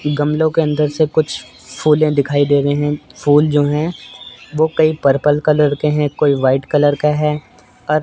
गमलों के अंदर से कुछ फुले दिखाई दे रहे हैं फूल जो है वो कई पर्पल कलर के हैं कोई व्हाइट कलर का है अ--